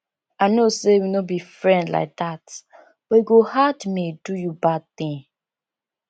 i know say we no be friend like dat but e go hard me do you bad thing